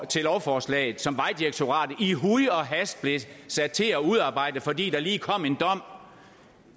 til lovforslaget som vejdirektoratet i huj og hast blev sat til at udarbejde fordi der lige kom en dom